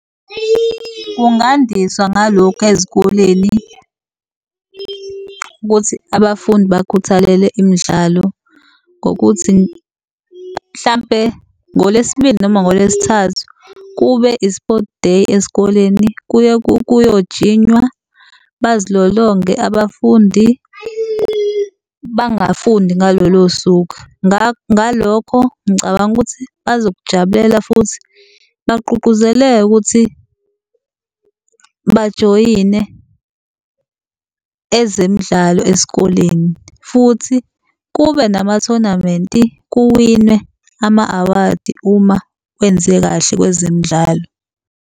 Kungandiswa ngalokhu ezikoleni ukuthi abafundi bakhuthalele imidlalo ngokuthi mhlampe ngoLesibili noma ngoLesithathu kube i-Sport Day esikoleni, kuye kuyojinywa, bazilolonge abafundi bangafundi ngalolo suku. Ngalokho ngicabanga ukuthi bazokujabulela futhi bagqugquzeleke ukuthi bajoyine ezemidlalo esikoleni, futhi kube namathonamenti kuwinwe ama-awadi uma wenze kahle kwezemidlalo.